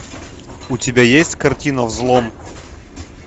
у тебя есть картина взлом